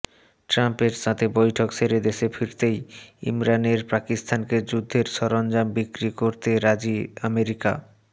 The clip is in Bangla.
ট্রাম্পের সাথে বৈঠক সেরে দেশে ফিরতেই ইমরানের পাকিস্তানকে যুদ্ধের সরঞ্জাম বিক্রি করতে রাজি আমেরিকা